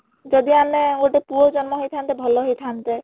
ଯଦି ଆମେ ଗୋଟେ ପୁଅ ଜନ୍ମ ହେଇ ଥାନ୍ତେ ଭଲ ହେଇ ଥାନ୍ତେ